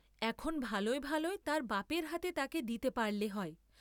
এখন ভালয় ভালয় তার বাপের হাতে তাকে দিতে পারলে হয়।